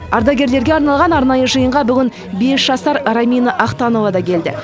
ардагерлерге арналған арнайы жиынға бүгін бес жасар рамина ахтанова да келді